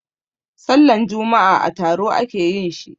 Sallan juma'a a taro a ke yin shi.